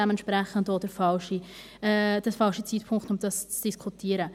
Dementsprechend ist es auch der falsche Zeitpunkt, um dies zu diskutieren.